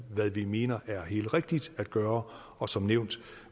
hvad vi mener er helt rigtigt at gøre og som nævnt